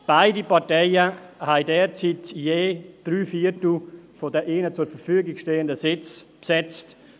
Beide Parteien haben derzeit je drei Viertel der ihnen zur Verfügung stehenden Sitze besetzt.